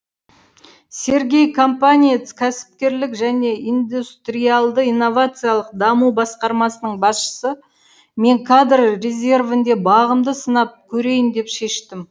сергей компаниец кәсіпкерлік және индустриалды инновациялық даму басқармасының басшысы мен кадр резервінде бағымды сынап көрейін деп шештім